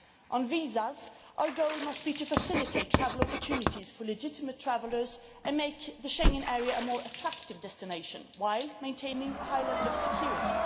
On visas, our goal must be to facilitate travel opportunities for legitimate travellers and make the Schengen area a more attractive destination, while maintaining a high level of security.